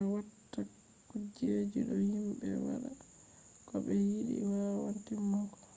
be no be watta kujeji do himbe wada ko be yidi wawan timmugo